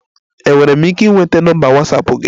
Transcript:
Enwere m ike ịnweta nọmba Watsapụ gị?